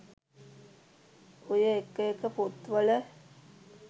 ඔය එක එක පොත්වල